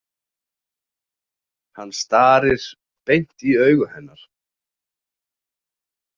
Hann starir beint í augu hennar.